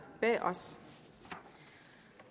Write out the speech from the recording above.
bag os